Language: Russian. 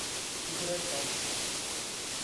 играй панк